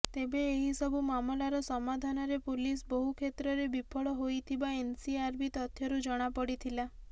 ତେବେ ଏହି ସବୁ ମାମଲାର ସମାଧାନରେ ପୁଲିସ ବହୁ କ୍ଷେତ୍ରରେ ବିଫଳ ହୋଇଥିବା ଏନସିଆରବି ତଥ୍ୟରୁ ଜଣାପଡ଼ିଥିଲା